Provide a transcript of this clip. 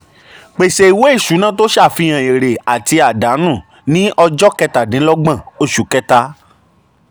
pèsè ìwé ìṣúná um tó ṣàfihàn èrè àti um àdánù ní ọjọ́ um kẹtàdínlọ́gbọ̀n oṣù kẹta.